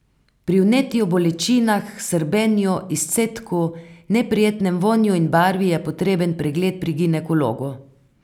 Pri vnetju, bolečinah, srbenju, izcedku, neprijetnem vonju in barvi je potreben pregled pri ginekologu.